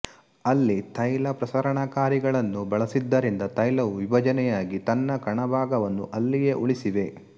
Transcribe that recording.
ಅಲ್ಲಿ ತೈಲ ಪ್ರಸರಣಕಾರಿಗಳನ್ನು ಬಳಸಿದ್ದರಿಂದ ತೈಲವು ವಿಭಜನೆಯಾಗಿ ತನ್ನ ಕಣಭಾಗವನ್ನು ಅಲ್ಲಿಯೇ ಉಳಿಸಿವೆ